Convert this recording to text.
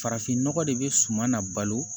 Farafinnɔgɔ de bɛ suman na balo